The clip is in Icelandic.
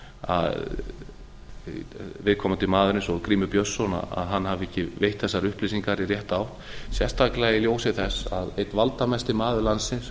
að viðkomandi maður eins og grímur björnsson hafi ekki veitt þessar upplýsingar í rétta átt sérstaklega í ljósi þess að einn valdamesti maður landsins